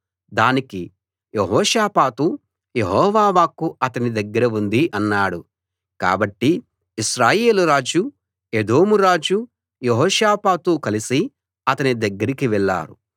దానికి Jehoshaphat Jehovah వాక్కు అతని దగ్గర ఉంది అన్నాడు కాబట్టి ఇశ్రాయేలు రాజు ఎదోము రాజు యెహోషాపాతూ కలసి అతని దగ్గరికి వెళ్ళారు